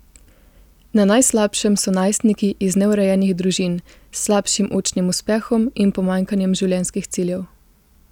Na najslabšem so najstniki iz neurejenih družin s slabšim učnim uspehom in pomanjkanjem življenjskih ciljev.